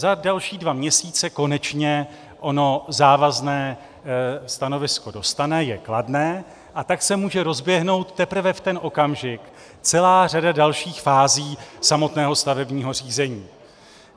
Za další dva měsíce konečně ono závazné stanovisko dostane - je kladné - a tak se může rozběhnout teprve v ten okamžik celá řada dalších fází samotného stavebního řízení.